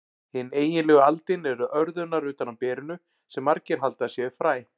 Hin eiginlegu aldin eru örðurnar utan á berinu, sem margir halda að séu fræ.